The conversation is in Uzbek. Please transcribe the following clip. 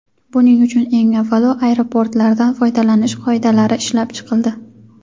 Buning uchun eng avvalo aeroportlardan foydalanish qoidalari ishlab chiqildi.